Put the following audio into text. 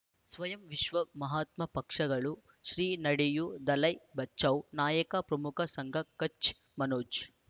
ಸ್ವಯಂ ವಿಶ್ವ ಮಹಾತ್ಮ ಪಕ್ಷಗಳು ಶ್ರೀ ನಡೆಯೂ ದಲೈ ಬಚೌ ನಾಯಕ ಪ್ರಮುಖ ಸಂಘ ಕಚ್ ಮನೋಜ್